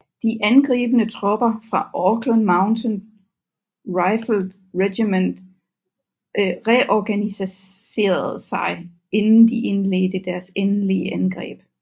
De angribende tropper fra Auckland Mounted Rifles Regiment reorganiserede sig inden de indledte deres endelige angreb